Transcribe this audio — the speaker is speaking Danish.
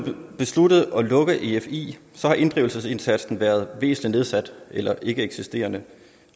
besluttet at lukke efi har inddrivelsesindsatsen været væsentlig nedsat eller ikkeeksisterende